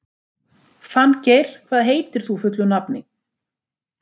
Fanngeir, hvað heitir þú fullu nafni?